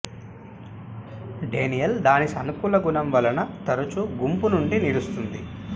Daniel దాని సానుకూల గుణం వలన తరచూ గుంపు నుండి నిలుస్తుంది